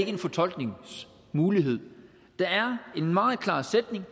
en fortolkningsmulighed der er en meget klar sætning